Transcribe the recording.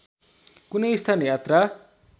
कुनै स्थान यात्रा